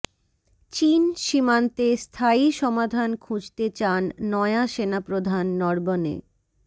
চিন সীমান্তে স্থায়ী সমাধান খুঁজতে চান নয়া সেনাপ্রধান নরবণে